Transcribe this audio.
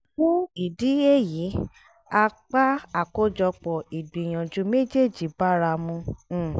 fún ìdí èyí apá àkójọpọ̀ ìgbìyànjú méjèjì báramu um